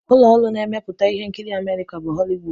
Ụlọ ọrụ ndị na-emepụta ihe nkiri Amerịka bụ Họliwud.